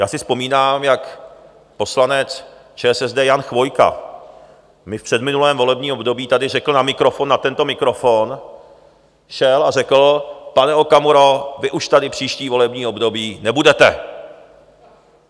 Já si vzpomínám, jak poslanec ČSSD Jan Chvojka mi v předminulém volebním období tady řekl na mikrofon, na tento mikrofon, šel a řekl: Pane Okamuro, vy už tady příští volební období nebudete.